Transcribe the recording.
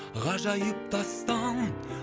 ғажайып тастан